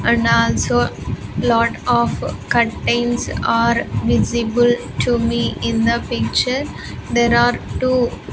And also lot of curtains are visible to me in the picture there are two --